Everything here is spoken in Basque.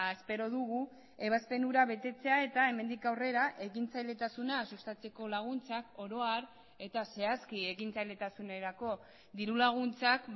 espero dugu ebazpen hura betetzea eta hemendik aurrera ekintzailetasuna sustatzeko laguntzak oro har eta zehazki ekintzailetasunerako dirulaguntzak